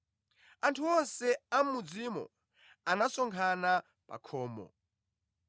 Anthu onse a mʼmudzimo anasonkhana pa khomo,